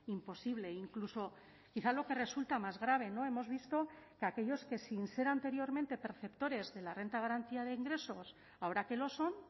imposible e incluso quizá lo que resulta más grave no hemos visto que aquellos que sin ser anteriormente perceptores de la renta de garantía de ingresos ahora que lo son